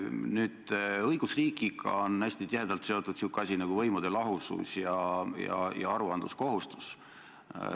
Nüüd, õigusriigiga on hästi tihedalt seotud sihuke asi nagu võimude lahusus ja aruandekohustus.